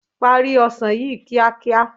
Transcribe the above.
Parí ọsàn yìí kíákíá.